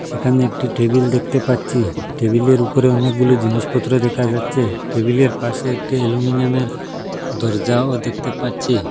সেখানে একটি টেবিল দেখতে পাচ্ছি টেবিলের উপরে অনেকগুলো জিনিসপত্র দেখা যাচ্ছে টেবিলের পাশে একটা অ্যালুমিনিয়ামের দরজাও দেখতে পাচ্ছি।